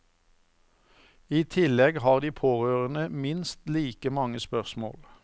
I tillegg har de pårørende minst like mange spørsmål.